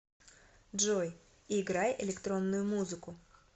джой играй электронную музыку